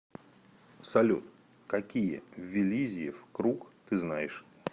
салют какие виллизиев круг ты знаешь